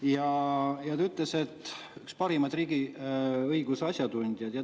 Ta ütles, et üks parimaid riigiõiguse asjatundjaid.